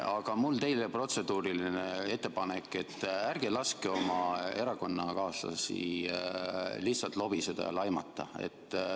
Aga mul on teile protseduuriline ettepanek: ärge laske oma erakonnakaaslasi lihtsalt lobiseda ja laimata.